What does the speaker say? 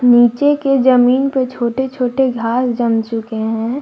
नीचे के जमीन पे छोटे छोटे घास जम चुके हैं।